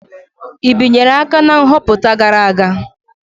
I binyere aka na nhọpụta gara aga?